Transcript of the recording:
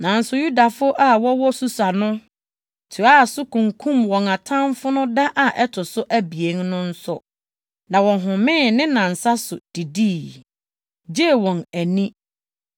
Nanso Yudafo a wɔwɔ Susa no toaa so kunkum wɔn atamfo no da a ɛto so abien no nso, na wɔhomee ne nnansa so de didii, gyee wɔn ani.